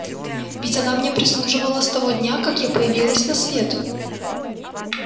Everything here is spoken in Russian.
ведь она мне прислуживала с того дня как я появилась на свет